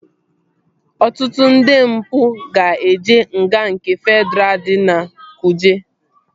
Ọtụtụ ndị mpụ ga-eje nga nke Fedraa dị na kuje